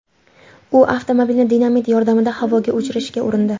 U avtomobilni dinamit yordamida havoga uchirishga urindi .